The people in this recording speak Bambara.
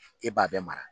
E b'a bɛɛ mara